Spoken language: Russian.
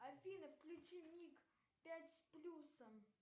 афина включи миг пять с плюсом